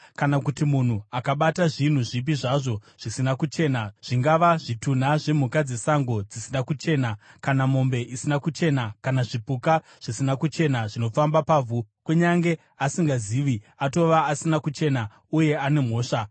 “ ‘Kana kuti munhu akabata zvinhu zvipi zvazvo zvisina kuchena, zvingava zvitunha zvemhuka dzesango dzisina kuchena, kana mombe isina kuchena, kana zvipuka zvisina kuchena zvinofamba pavhu, kunyange asingazvizivi, atova asina kuchena uye ane mhosva.